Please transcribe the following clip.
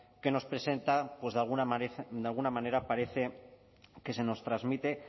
que nos presenta pues de alguna manera parece que se nos transmite